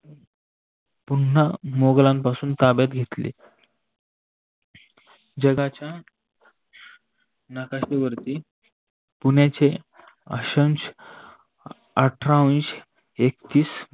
पुन्हा मुघलापासून ताब्यात घेतली. जगाच्या नकाशेवर्ती पुण्याचे आठरा अंश एकतीस